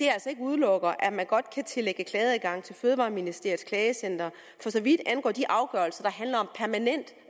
udelukker at man godt kan tillægge klageadgang til fødevareministeriets klagecenter for så vidt angår de afgørelser